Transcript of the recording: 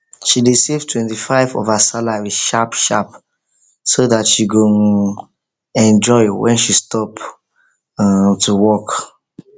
she dey save 25 of her salary sharp sharp so dat she go um enjoy when she stop um to work